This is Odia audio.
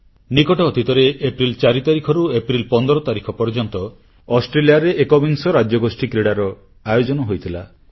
ନିକଟ ଅତୀତରେ ଏପ୍ରିଲ 4 ତାରିଖରୁ ଏପ୍ରିଲ 15 ତାରିଖ ପର୍ଯ୍ୟନ୍ତ ଅଷ୍ଟ୍ରେଲିଆରେ ଏକବିଂଶ ରାଜ୍ୟଗୋଷ୍ଠୀ କ୍ରୀଡ଼ାର ଆୟୋଜନ ହୋଇଥିଲା